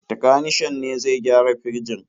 Takanishan ne zai gyara firjin.